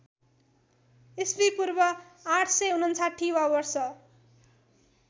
ईपू ८५९ वा वर्ष